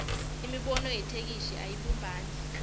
imibono yetheksthi ayibumbani